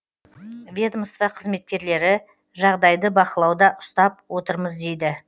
ведомство қызметкерлері жағдайды бақылауда ұстап отырмыз дейді